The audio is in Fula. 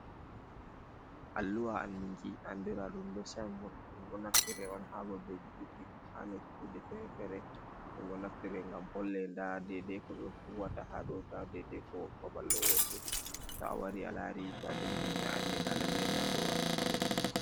Alluha andinki, andira ɗum be sign board, ɗo naftiri on haa babeji duddi, ha nokkuje fere-fere ɗum ɗo naftire gam holle nda dedei ko ɓe huwata haa ɗo, nda dedei ko babal ɗo wontiri, to a wari a laari to jangi ni a andi nda lallai nda ko ɓe watta haɗoni.